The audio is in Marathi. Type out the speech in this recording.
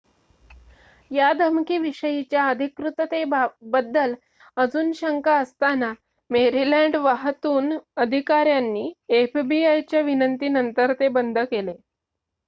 या धमकी विषयीच्या अधिकृततेबद्दल अजून शंका असताना मेरीलँड वाहतून अधिकाऱ्यांनी एफबीआय च्या विनंती नंतर ते बंद केले